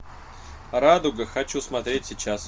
радуга хочу смотреть сейчас